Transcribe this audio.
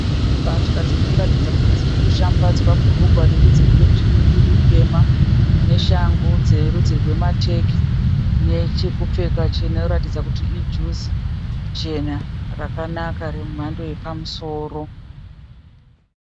Mbatya dzirikuratidza kuti dzirikushambadzwa. Bhurugwa rwerudzi rwejini riri tema, neshangu dzerudzi rwemateki nechekupfeka chinoratidza kuti ijuzi ichena rakanaka remhando yepamusoro.